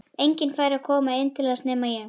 Enginn fær að koma inn til hans nema ég.